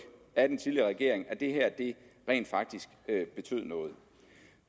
af under den tidligere regering at det her rent faktisk betød noget